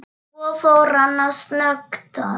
Svo fór hann að snökta.